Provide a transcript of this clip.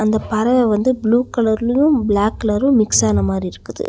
அந்த பறவ வந்து ப்ளூ கலர்லையு பிளாக் கலரும் மிக்ஸ் ஆன மாதிரி இருக்குது.